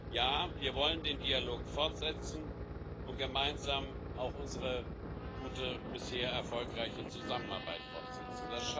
Ja, wir wollen den Dialog fortsetzen und gemeinsam auch unsere gute, bisher erfolgreiche Zusammenarbeit fortsetzen.